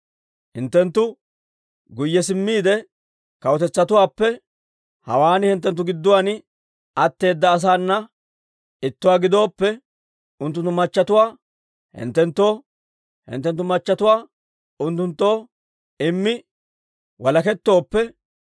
Hinttenttu guyye simmiide, kawutetsatuwaappe hawaan hinttenttu gidduwaan atteeda asaana ittuwaa gidooppe, unttunttu machatuwaa hinttenttoo, hinttenttu machatuwaa unttunttoo immi walakettooppe,